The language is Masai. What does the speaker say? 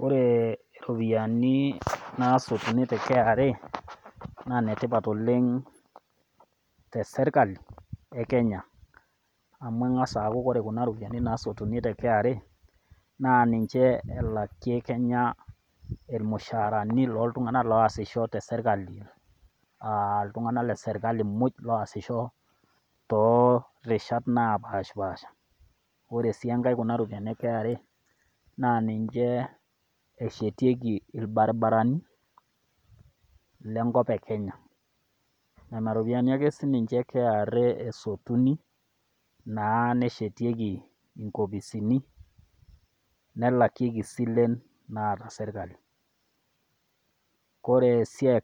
Ore iropiani naasotuni te KRA, naa inetipat oleng' te sirkali e Kenya, amu keng'as aaku kore kuna ropiani naasotuni te KRA naa ninye elakie kenya ilmushaarani o iltung'ana loasisho te sirkali, aa iltung'ana le sirkali muj looasisho too irishat napaashpasha. Ore sii enkai kuna ropiani e KRA naa ninche eshetieki ilbarabarani, le enkop e Kenya, nena ropiani ake e KRA ake esotuni naaa neshetieki nkopisini, nelakieki isilen naata serkali, ore esiai